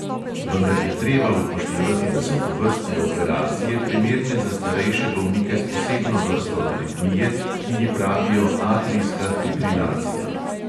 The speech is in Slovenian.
Vendar je treba upoštevati, da so tovrstne operacije primerne za starejše bolnike s posebno vrsto aritmije, ki ji pravijo atrijska fibrilacija.